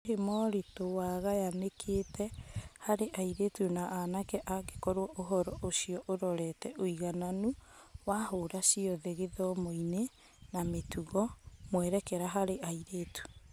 Hihi moritũ wagayanĩkĩte harĩ airĩtu na anake angĩkorwo ũhoro ũcio ũrorete ũigananu wa hũra ciothe gĩthomo-inĩ na mĩtugo / mwerekera harĩ airĩtu?